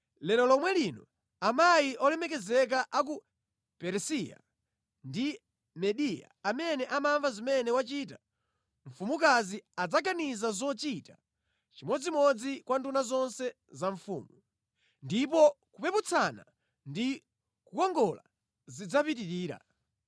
Lero lomwe lino amayi olemekezeka a ku Peresiya ndi Mediya amene amva zimene wachita mfumukazi adzaganiza zochita chimodzimodzi kwa nduna zonse za mfumu. Ndipo kupeputsana ndi kukongola zidzapitirira.”